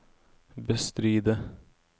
bestride